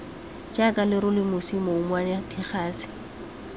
jaaka lerole mosi mouwane digase